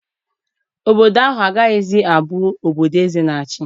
Obodo ahụ agaghị abụzi obodo eze na-achị.